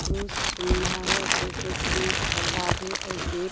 खूब है और जैसे की पर्दा भी और गेट --